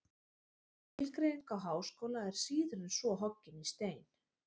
Skilgreining á háskóla er síður en svo hoggin í stein.